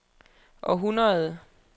århundrede